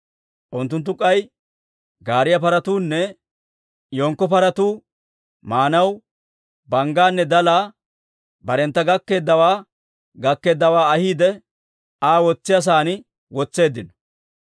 Unttunttu k'ay gaariyaa paratuunne yenkko paratuu maanaw banggaanne dalaa barentta gakkeeddawaa gakkeeddawaa ahiide Aa wotsiyaa sa'aan wotseeddino.